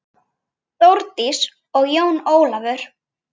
Þórdís og Jón Ólafur.